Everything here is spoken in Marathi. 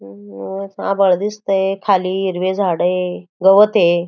अम्म्म्म निळंस आभाळ दिसतंय खाली हिरवे झाड ये गवत ये.